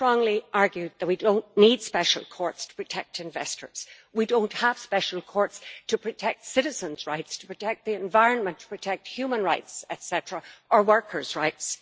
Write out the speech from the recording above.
I strongly argue that we do not need special courts to protect investors. We do not have special courts to protect citizens' rights, to protect the environment, or to protect human rights or workers' rights.